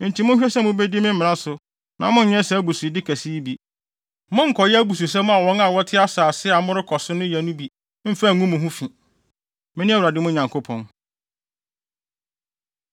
Enti monhwɛ sɛ mubedi me mmara no so na monnyɛ saa abusude kɛse yi bi. Monnkɔyɛ abususɛm a wɔn a wɔte asase a morekɔ so no yɛ no bi mmfa ngu mo ho fi. Mene Awurade mo Nyankopɔn.’ ”